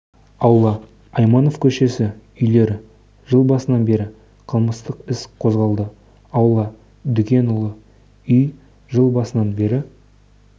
аула айманов көшесі үйлер жыл басынан бері қылмыстық іс қозғалды аула дүкенұлы үй жыл басынан бері